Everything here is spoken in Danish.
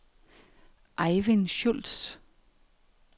Ejvind Schulz